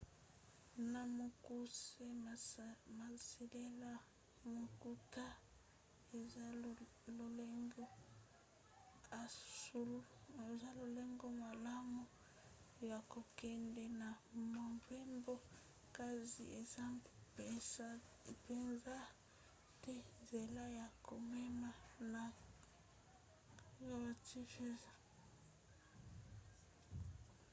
na mokuse kosalela motuka eza lolenge malamu ya kokende na mobembo kasi eza mpenza te nzela ya komema na kaa